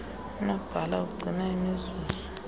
unobhala ugcina imizuzu